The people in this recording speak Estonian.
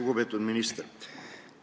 Lugupeetud minister!